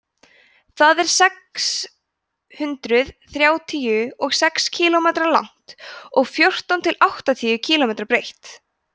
það er sex hundruð þrjátíu og sex kílómetra langt og fjórtán til áttatíu kílómetra breitt